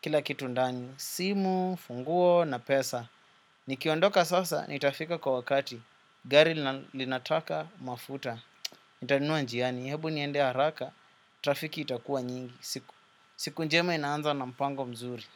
kila kitu ndani. Simu, funguo, na pesa. Nikiondoka sasa, nitafika kwa wakati. Gari linataka mafuta. Nitanua njiani, hebu niendea haraka, trafiki itakua nyingi. Siku njema inaanza na mpango mzuri.